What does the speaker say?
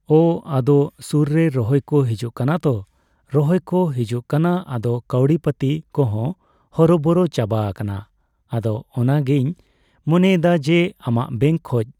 ᱳ ᱟᱫᱚ ᱥᱩᱨᱨᱮ ᱨᱚᱦᱚᱭ ᱠᱳ ᱦᱤᱡᱩᱜ ᱠᱟᱱᱟ ᱛᱳ ᱨᱚᱦᱚᱭ ᱠᱳ ᱦᱤᱡᱩᱜ ᱠᱟᱱᱟ ᱟᱫᱚ ᱠᱟᱣᱰᱤ ᱯᱟᱛᱤ ᱠᱚᱸᱦᱚᱸ ᱦᱚᱨᱚ ᱵᱚᱨᱚ ᱪᱟᱵᱟ ᱟᱠᱟᱱᱟ ᱟᱫᱚ ᱚᱱᱟᱜᱮᱤᱧ ᱢᱚᱱᱮᱭᱮᱫᱟ ᱡᱮ ᱟᱢᱟᱜ ᱵᱮᱝᱠ ᱠᱷᱚᱡ